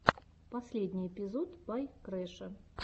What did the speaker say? последний эпизод бай крэша